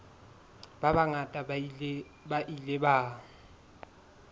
ba bangata ba ile ba